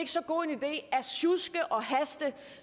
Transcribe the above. så god en idé at sjuske og haste